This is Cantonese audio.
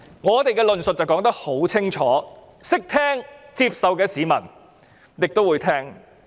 我們的論述十分清楚，聽得懂、會接受的市民便會聆聽。